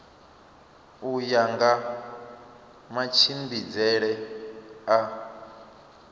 u ya nga matshimbidzele a